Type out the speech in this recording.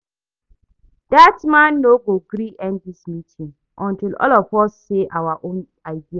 Dat man no go gree end dis meeting until all of us say our own idea